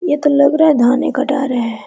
यह तो लग रहा है धाने कटा रहा है।